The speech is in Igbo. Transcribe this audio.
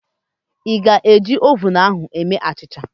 Ị ga-eji oven ahu eme achịcha?